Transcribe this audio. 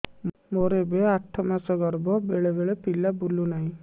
ମୋର ଏବେ ଆଠ ମାସ ଗର୍ଭ ବେଳେ ବେଳେ ପିଲା ବୁଲୁ ନାହିଁ